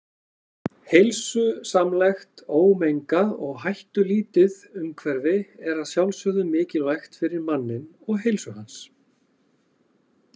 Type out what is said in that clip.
Heilsusamlegt, ómengað og hættulítið umhverfi er að sjálfsögðu mikilvægt fyrir manninn og heilsu hans.